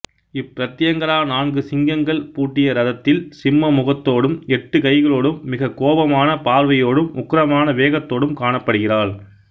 இப்பிரத்யங்கரா நான்கு சிங்கங்கள் பூட்டிய ரதத்தில் சிம்ம முகத்தோடும் எட்டு கைகளோடும் மிகக் கோபமான பார்வையோடும் உக்கிரமான வேகத்தோடும் காணப்படுகிறாள்